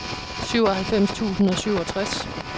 syvoghalvfems tusind og syvogtres